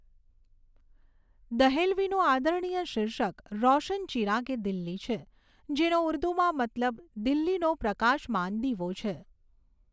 દહેલવીનું આદરણીય શીર્ષક રોશન ચિરાગે દિલ્હી છે, જેનો ઉર્દુમાં મતલબ દિલ્હીનો પ્રકાશમાન દીવો છે.